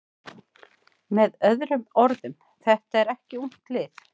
Með öðrum orðum: Þetta er ekki ungt lið.